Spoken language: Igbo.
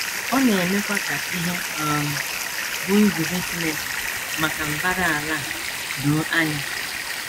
Ọ na - emekwa ka ihe um bụ́ nzube Chineke maka mbara ala a doo anya.